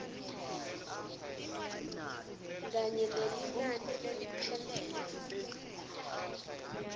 kanye nelinani leliphelele